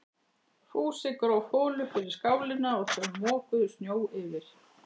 Fúsi gróf holu fyrir skálina og þau mokuðu snjó yfir.